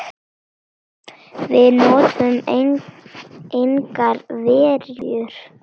Við notuðum engar verjur.